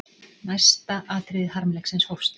Næsta atriði harmleiksins hófst.